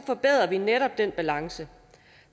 forbedrer vi netop den balance